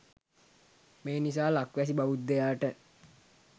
මේ නිසා ලක්වැසි බෞද්ධයාට